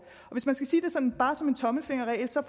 hvis man skal sige det sådan bare som en tommelfingerregel så